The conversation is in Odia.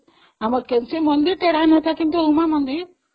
ଆମର ଯୋଉ ମନ୍ଦିର, ଉମା ମନ୍ଦିରଟା ତେଢା ଅଛି ନା